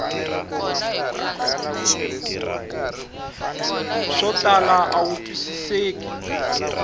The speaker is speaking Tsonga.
swo tala a wu twisiseki